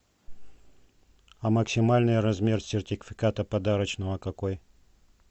а максимальный размер сертификата подарочного какой